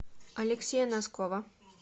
алексея носкова